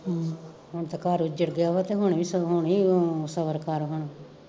ਹੁਣ ਤੇ ਘਰ ਉਜੜ ਗਿਆ ਵਾ ਤੇ ਹੁਣ ਵੀ ਸਗੋਂ ਹੁਣ ਈ ਸਬਰ ਕਰ